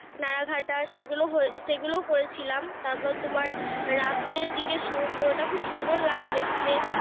নারা ঘাটা সেগুলো হয়ে সেগুলো করেছিলাম। তারপর তোমার রাত্রের দিকে সমুদ্রটা সুন্দর খুব লাগে দেখতে।